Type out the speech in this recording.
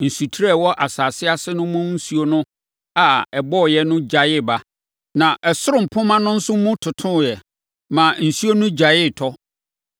Nsutire a ɛwɔ asase ase no mu nsuo a ɛbɔeɛ no gyaee ba, na ɛsoro mpomma no nso mu totoeɛ, maa nsuo no gyaee tɔ.